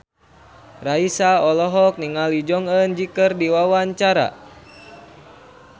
Raisa olohok ningali Jong Eun Ji keur diwawancara